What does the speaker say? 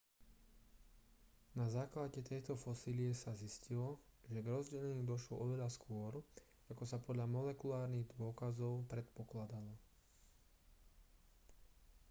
na základe tejto fosílie sa zistilo že k rozdeleniu došlo oveľa skôr ako sa podľa molekulárnych dôkazov predpokladalo